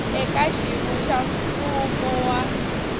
eka xiyimo xa mfumo wa